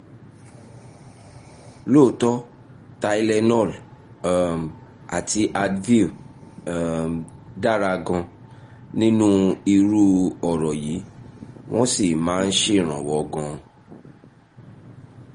lóòótọ́ tylenol um àti advil um dára gan-an nínú irú ọ̀rọ̀ yìí wọ́n sì máa ń ṣèrànwọ́ gan-an